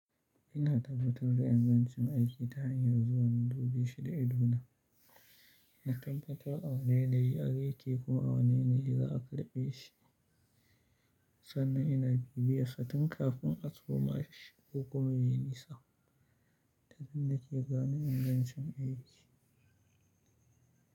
Ina tabbatar da ingancin aiki ta hanyar zuwa in dubeshi da idona. Na tabbatar a wani yanayi ake kuma a wani yanayi l za a karbe shi sannan ina bibiye sa tun kafin a suma shi ko kuma yayi nesa. Ta nan nake gane ingancin aiki.